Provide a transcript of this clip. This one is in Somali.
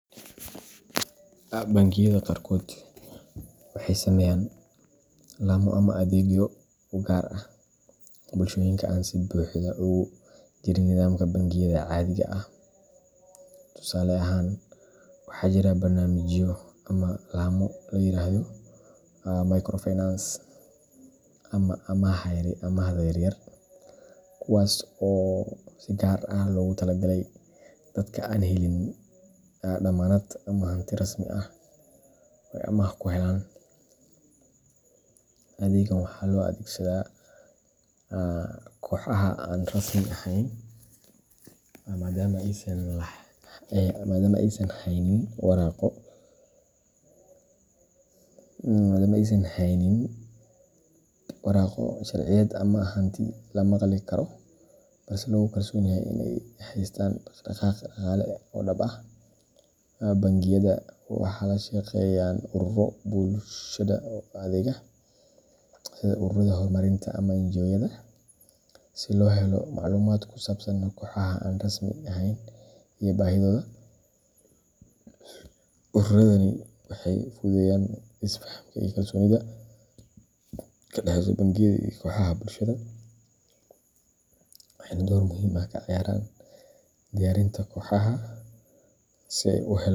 Bangiyada qaarkood waxay sameeyaan laamo ama adeegyo u gaar ah bulshooyinka aan si buuxda ugu jirin nidaamka bangiyada caadiga ah. Tusaale ahaan, waxaa jira barnaamijyo ama laamo la yiraahdo microfinance ama amaahda yaryar, kuwaas oo si gaar ah loogu talagalay dadka aan helin dammaanad ama hanti rasmi ah oo ay amaah ku helaan. Adeeggan waxaa loo adeegsadaa kooxaha aan rasmi ahayn, maadaama aysan haynin waraaqo sharciyeed ama hanti la maqli karo, balse lagu kalsoon yahay in ay haystaan dhaqdhaqaaq dhaqaale oo dhab ah. Bangiyada waxay la shaqeeyaan ururro bulshada u adeega, sida ururrada horumarinta ama NGO-yada, si loo helo macluumaad ku saabsan kooxaha aan rasmi ahayn iyo baahiyahooda. Ururradani waxay fududeeyaan is-fahamka iyo kalsoonida ka dhexeysa bangiyada iyo kooxaha bulshada, waxayna door muhiim ah ka ciyaaraan diyaarinta kooxaha si ay u helaan.